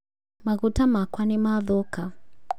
Maguta makwa nĩmathũka